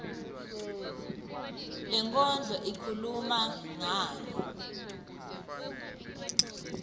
lenkondlo ikhuluma ngani